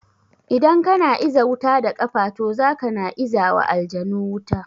Idan kana iza wuta da kafa to zaka na izawa aljanu wuta